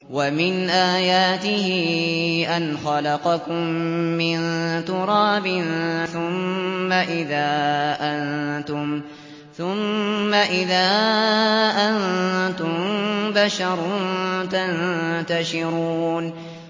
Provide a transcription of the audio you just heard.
وَمِنْ آيَاتِهِ أَنْ خَلَقَكُم مِّن تُرَابٍ ثُمَّ إِذَا أَنتُم بَشَرٌ تَنتَشِرُونَ